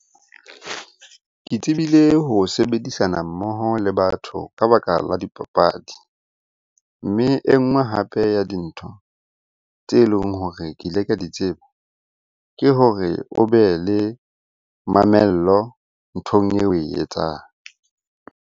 Ke tsebile ho sebedisana mmoho le batho ka baka la dipapadi. Mme e nngwe hape ya dintho tse leng hore ke ile ka di tseba, ke hore o be le mamello nthong eo oe etsang.